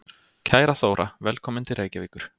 Kæra Þóra. Velkomin til Reykjavíkur.